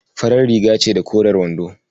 Farar riga ce da koren wando.